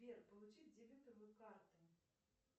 сбер получить дебетовую карту